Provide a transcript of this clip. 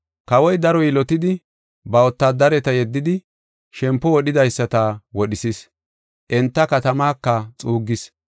“Kawoy daro yilotidi, ba wotaadareta yeddidi shempo wodhidaysata wodhisis, enta katamaka xuuggis.